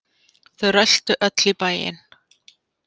Þau röltu öll í bæinn.